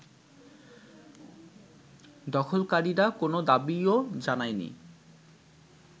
দখলকারীরা কোনো দাবিও জানায়নি